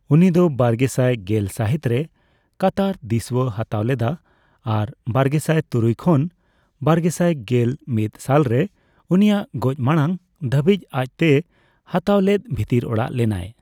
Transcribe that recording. ᱩᱱᱤ ᱫᱚ ᱵᱟᱨᱜᱮᱥᱟᱭ ᱜᱮᱞ ᱥᱟᱦᱤᱛ ᱨᱮ ᱠᱟᱛᱟᱨ ᱫᱤᱥᱣᱟᱹ ᱦᱟᱛᱟᱣ ᱞᱮᱫᱟ ᱟᱨ ᱵᱟᱨᱜᱮᱥᱟᱭ ᱛᱩᱨᱩᱭ ᱠᱷᱚᱱ ᱵᱟᱨᱜᱮᱥᱟᱭ ᱜᱮᱞ ᱢᱤᱛ ᱥᱟᱞ ᱨᱮ ᱩᱱᱤᱭᱟᱜ ᱜᱚᱡᱽ ᱢᱟᱲᱟᱝ ᱫᱷᱟᱹᱵᱤᱡ ᱟᱡ ᱛᱮᱭ ᱦᱟᱛᱟᱣ ᱞᱮᱫ ᱵᱷᱤᱛᱤᱨ ᱚᱲᱟᱜ ᱞᱮᱱᱟᱭ ᱾